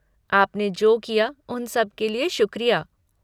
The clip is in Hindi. आपने जो किया उन सब के लिए शुक्रिया।